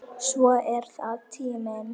Svo er það tíminn.